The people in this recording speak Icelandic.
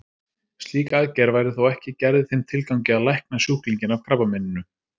Slík aðgerð væri þó ekki gerð í þeim tilgangi að lækna sjúklinginn af krabbameininu.